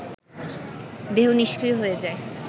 দেহ নিষ্ক্রিয় হয়ে যায়